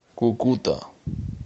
кукута